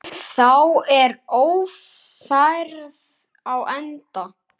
Þá er Ófærð á enda.